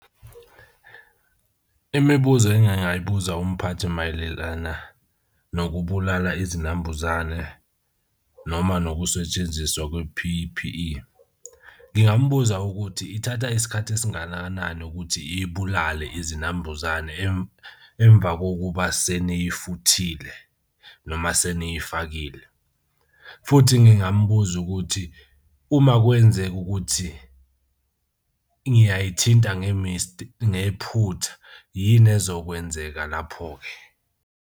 Imibuzo engingayibuza umphathi mayelelana nokubulala izinambuzane noma nokusetshenziswa kwe-P_P_E ngingambuza ukuthi ithatha isikhathi esingananani ukuthi ibulale izinambuzane emva kokuba seney'futhile noma seniyifakile. Futhi ngingambuza ukuthi uma kwenzeka ukuthi ngiyayithinta ngephutha, yini ezokwenzeka lapho-ke?